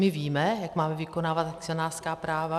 My víme, jak máme vykonávat akcionářská práva.